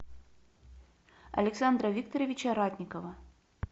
александра викторовича ратникова